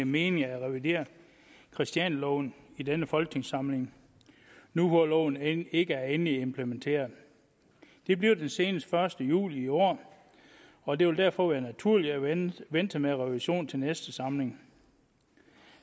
mening at revidere christianialoven i denne folketingssamling nu hvor loven end ikke er endeligt implementeret det bliver den senest den første juli i år og det vil derfor være naturligt at vente vente med en revision til næste samling